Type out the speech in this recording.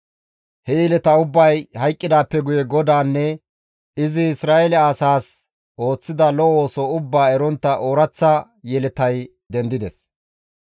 He yeleta ubbay hayqqidaappe guye GODAANNE izi Isra7eele asaas ooththida lo7o ooso ubbaa erontta ooraththa yeletay dendides.